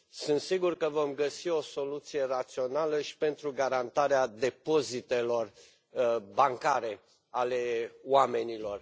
Sunt sigur că vom găsi o soluție rațională și pentru garantarea depozitelor bancare ale oamenilor.